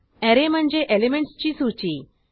array म्हणजे एलिमेंटसची सूची